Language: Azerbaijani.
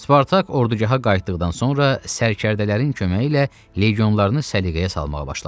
Spartak ordugaha qayıtdıqdan sonra sərkərdələrin köməyi ilə legionlarını səliqəyə salmağa başladı.